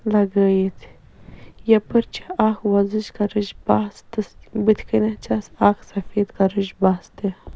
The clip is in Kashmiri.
.لگٲیِتھ یپٲرۍ چھ اکھ وۄزٕج کلرٕچ بس تہِ بُتھہِ کنٮ۪تھ بیٚیہِ چھٮ۪س سفید کلرٕچ بس تہِ